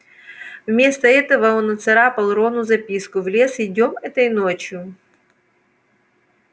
вместо этого он нацарапал рону записку в лес идём этой ночью